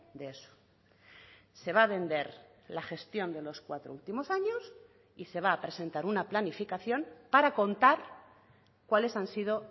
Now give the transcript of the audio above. de eso se va a vender la gestión de los cuatro últimos años y se va a presentar una planificación para contar cuáles han sido